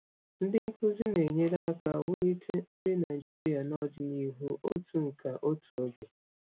Ndị nkuzi na-enyere aka wulite nri Nigeria n'ọdịnihu otu nka n'otu oge.